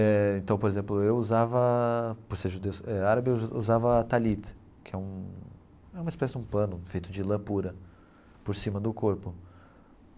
Eh então, por exemplo, eu usava, por ser judeus, é árabe usava talit, que é um é uma espécie de pano feito de lã pura por cima do corpo.